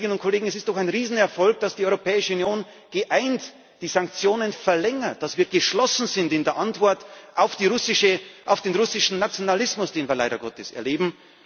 Liebe Kolleginnen und Kollegen, es ist doch ein Riesenerfolg, dass die Europäische Union geeint die Sanktionen verlängert, dass wir geschlossen sind in der Antwort auf den russischen Nationalismus, den wir leider Gottes erleben.